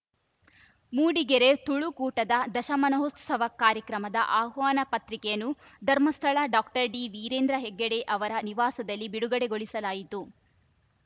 ಮೂಡಿಗೆರೆ ತುಳುಕೂಟದ ದಶಮಾನೋತ್ಸವ ಕಾರ್ಯಕ್ರಮದ ಆಹ್ವಾನ ಪತ್ರಿಕೆಯನ್ನು ಧರ್ಮಸ್ಥಳ ಡಾಕ್ಟರ್ ಡಿವೀರೇಂದ್ರ ಹೆಗಡೆ ಅವರ ನಿವಾಸದಲ್ಲಿ ಬಿಡುಗಡೆಗೊಳಿಸಲಾಯಿತು